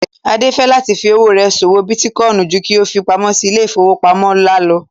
Adé fẹ́ láti fí owó rẹ̀ ṣòwò bítíkọìnì ju kí ó fi pamó sí ilé ìfowópamọ́ ńlá lọ